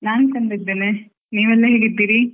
ನಾನ್ ಚೆಂದ ಇದ್ದೇನೆ ನೀವೆಲ್ಲಾ ಹೇಗಿದ್ದೀರಿ?